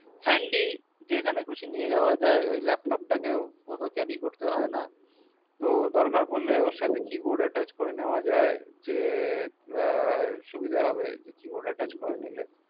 handi যেখানে খুশি নেয়া যাওয়া যাই ওই laptop তাকেও carry করতে হয় না তো দরকার পড়ল keyboard attch করে নেওয়া যাই